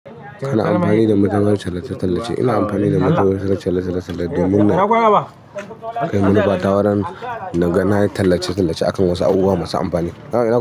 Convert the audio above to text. Ina amfani da magungunan tallace-tallace, ina amfani da magungunan tallace-tallace domin na kai munufata wurin na ga nayi tallace-tallace akan wasu abubuwa masu amfani.